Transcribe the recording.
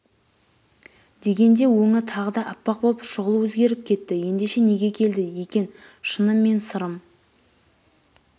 дегенде өңі тағы да аппақ боп шұғыл өзгеріп кетті ендеше неге келді екен шыным мен сырым